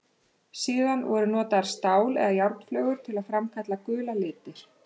Síðar voru notaðar stál- eða járnflögur til að framkalla gula liti.